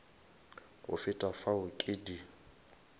go feta fao ke di